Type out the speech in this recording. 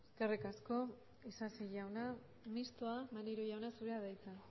eskerrik asko isasi jauna mistoa maneiro jauna zurea da hitza